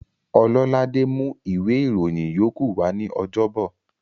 Ọlọ́ládé mú ìwé ìròyìn yókù wa ní ọjọ́bọ̀